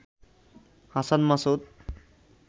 Hasan Masud